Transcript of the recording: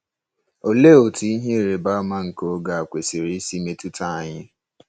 Olee otú “ihe ịrịba ama nke oge a” kwesịrị isi metụta anyị?